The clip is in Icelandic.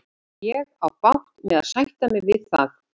Ég á bágt með að sætta mig við það.